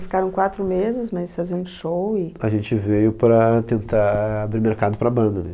Ficaram quatro meses, mas faziam show e... A gente veio para tentar abrir mercado para a banda, né?